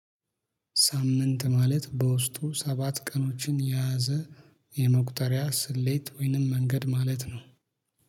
ሳምንት ማለት በውስጡ ሰባት ቀኖችን የያዘ የመቁጠሪያ ስሌት ወይንም መንገድ ማለት ነው